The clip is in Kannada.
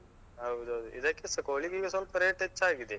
ಹೌದೌದು. ಇದಕ್ಕೆಸ ಕೋಳಿಗೀಗ ಸ್ವಲ್ಪ rate ಹೆಚ್ಚಾಗಿದೆ.